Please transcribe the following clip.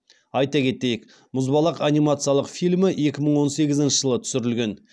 айта кетейік мұзбалақ анимациялық фильмі екі мың он сегізінші жылы түсірілген